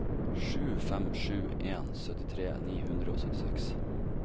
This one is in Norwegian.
sju fem sju en syttitre ni hundre og syttiseks